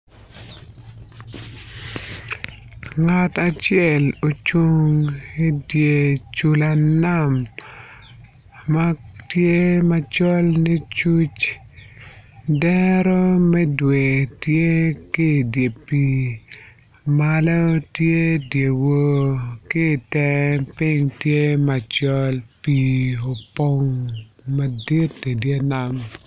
Ngat acel ocung i cula nam ma tye macol licuc dero me dwe tye ki i dye pii malo tye dyewor ki i tenge piny tye macol pii opong madit i dye nam.